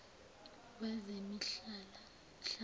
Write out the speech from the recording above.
wezemihlaba